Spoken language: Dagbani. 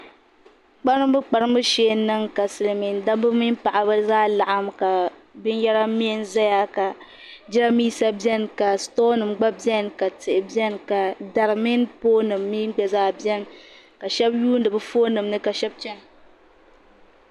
Kparimbukparimbu shee n niŋ ka silimiindabba mini Paɣaba zaa laɣim ka binyara miɛ n zaya ka jiraanmiisa beni ka sitoonim gba beni ka tihi beni ka dari mini poolinim mi gba zaa beni ka shɛbi yuuni bi foonim ni ka shɛbi chana.